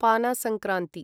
पाना संक्रान्ति